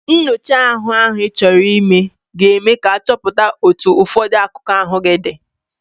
Nnyocha ime ahụ Ị chọrọ ime ka eme ka achọpụta otu ụfọdụ akụkụ ahụ gị dị.